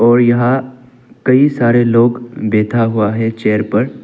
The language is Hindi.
और यहां कई सारे लोग बेठा हुआ है चेयर पर--